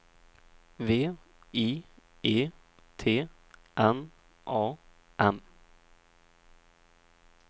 V I E T N A M